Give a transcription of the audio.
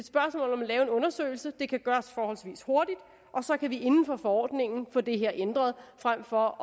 er en undersøgelse det kan gøres forholdsvis hurtigt og så kan vi inden for forordningen få det her ændret frem for